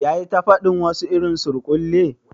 Ya yi ta fadin wasu irin surkulle?